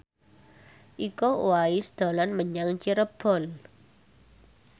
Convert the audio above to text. Iko Uwais dolan menyang Cirebon